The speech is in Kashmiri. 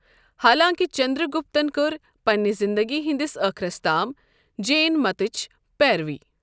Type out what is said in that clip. حالانٛکہِ چندرگپتَن کٔر پنِنہِ زِنٛدگی ہندِس ٲخرَس تام جین متٕچۍ پیروی۔